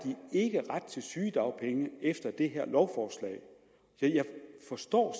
til sygedagpenge efter det her lovforslag jeg forstår